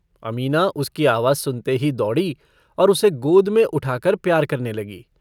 अमीना उसकी आवाज सुनते ही दौड़ी और उसे गोद में उठाकर प्यार करने लगी।